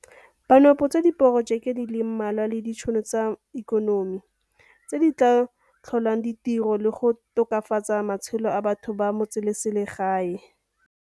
Ba nopotse diporojeke di le mmalwa le ditšhono tsa ikonomi tse di tla tlholang di tiro le go tokafatsa matshelo a batho ba metseselegae.